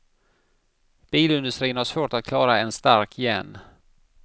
Bilindustrin har svårt att klara en stark yen.